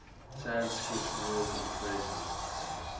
sanskrit words and phrases